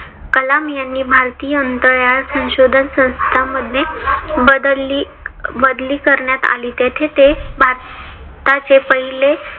कलाम यांनी भारतीय अंतराळ संशोधन संस्था मध्ये बदली बदली करण्यात आली. तेथे ते भारताचे पहिले